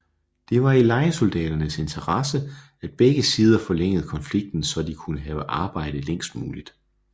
Det var i lejesoldaternes interesse at begge sider forlængede konflikten så de kunne have arbejde længst muligt